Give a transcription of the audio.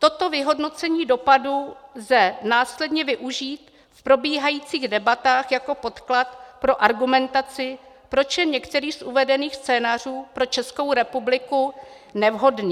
Toto vyhodnocení dopadu lze následně využít v probíhajících debatách jako podklad pro argumentaci, proč je některý z uvedených scénářů pro Českou republiku nevhodný;